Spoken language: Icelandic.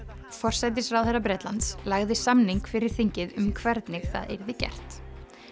forsætisráðherra Bretlands lagði samning fyrir þingið um hvernig það yrði gert